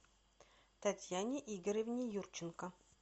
татьяне игоревне юрченко